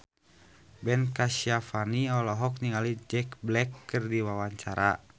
Ben Kasyafani olohok ningali Jack Black keur diwawancara